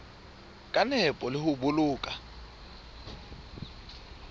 ka nepo le ho boloka